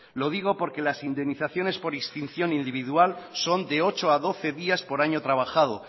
lo digo porque las indemnizaciones por extinción y de individual son de ocho a doce días por año trabajado